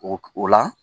O o la